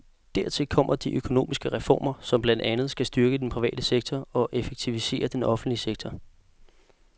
Dertil kommer de økonomiske reformer, som blandt andet skal styrke den private sektor og effektivisere den offentlige sektor.